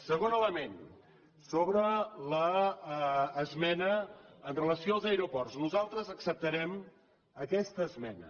segon element sobre l’esmena amb relació als aeroports nosaltres acceptarem aquesta esmena